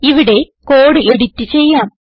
ഇവിടെ code edit ചെയ്യാം